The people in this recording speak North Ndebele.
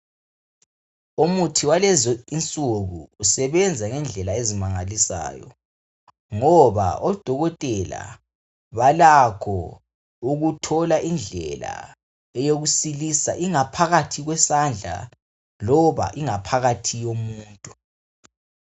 Umuthi walezi insuku usebenza ngendlela ezimangalisayo ngoba odokotela balakho ukuthola indlela yokusilisa ingaphakathi yesandla loba ingaphakathi yomuntu.